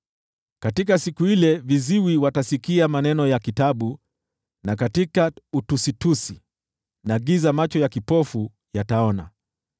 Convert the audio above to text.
Katika siku ile viziwi watasikia maneno ya kitabu, na katika utusitusi na giza macho ya kipofu yataona.